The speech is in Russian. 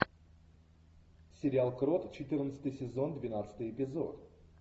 сериал крот четырнадцатый сезон двенадцатый эпизод